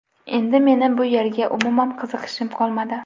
Endi meni bu yerga umuman qiziqishim qolmadi.